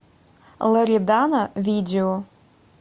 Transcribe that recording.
лоредана видео